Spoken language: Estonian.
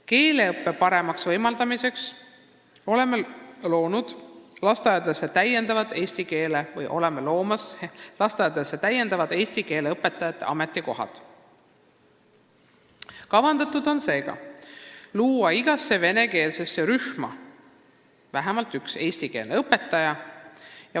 Keeleõppe paremaks võimaldamiseks loome lasteaedadesse täiendavaid eesti keele õpetajate ametikohti: kavas on tuua igasse venekeelsesse rühma vähemalt üks eesti keele õpetaja.